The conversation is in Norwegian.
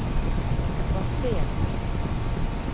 basert